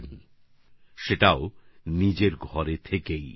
তাও সেটা নিজের বাড়িতে থেকেই